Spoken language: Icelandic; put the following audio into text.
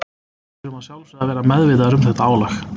Við þurfum að sjálfsögðu að vera meðvitaðir um þetta álag.